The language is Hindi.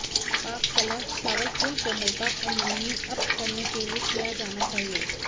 पाक कला चावल पूर्ण कोमलता और नमनीय अप करने के लिए किया जाना चाहिए